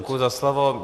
Děkuji za slovo.